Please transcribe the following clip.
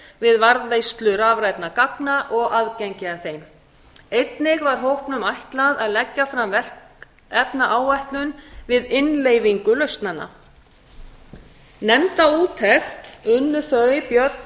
við varðveislu rafrænna gagna og aðgengi að þeim einnig var hópnum ætlað að leggja fram verkefnaáætlun við innleiðingu lausnanna nefnda úttekt unnu þau björn